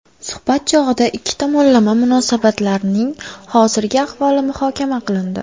Suhbat chog‘ida ikki tomonlama munosabatlarning hozirgi ahvoli muhokama qilindi.